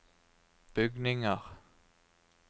bygninger